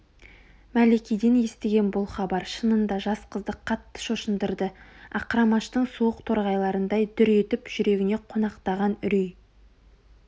мәликеден естіген бұл хабар шынында жас қызды қатты шошындырды ақырамаштың суық торғайларындай дүр етіп жүрегіне қонақтаған үрей